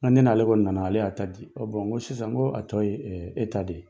Nka ne'ale ko nana ale y'a ta di ɔ bɔn sisan ko a tɔ ye e ta de ye